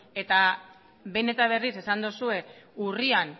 eta behin eta berriz esan duzue urrian